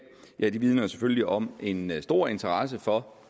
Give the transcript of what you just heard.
vidner selvfølgelig om en stor interesse for